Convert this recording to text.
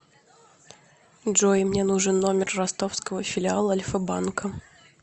джой мне нужен номер ростовского филиала альфа банка